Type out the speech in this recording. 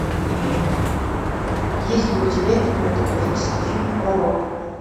есть ли у тебя кинематографический фильм пророк